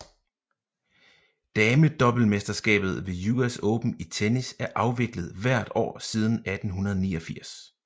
Damedoublemesterskabet ved US Open i tennis er afviklet hvert år siden 1889